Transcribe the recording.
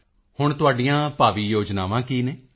ਮੋਦੀ ਜੀ ਹੁਣ ਤੁਹਾਡੀਆਂ ਭਾਵੀ ਯੋਜਨਾਵਾਂ ਕੀ ਹਨ